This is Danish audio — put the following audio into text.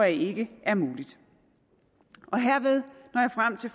ikke er mulig herved